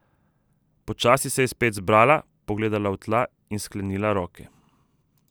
Počasi se je spet zbrala, pogledala v tla in sklenila roke.